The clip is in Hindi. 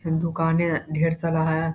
दुकाने है ढेर सारा है।